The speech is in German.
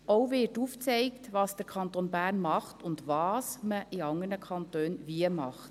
Auch wird aufgezeigt, was der Kanton Bern macht und was man in anderen Kantonen wie macht.